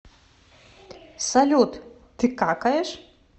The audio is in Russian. салют ты какаешь